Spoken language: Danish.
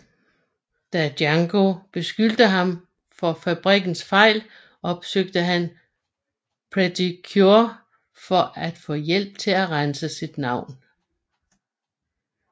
Da Yango beskylder ham for fabrikkens fejl opsøger han Pretty Cure for at få hjælp til at rense sit navn